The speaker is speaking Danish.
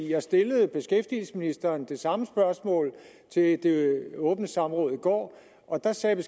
jeg stillede beskæftigelsesministeren det samme spørgsmål ved det åbne samråd i går og der sagde